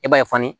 I b'a ye fani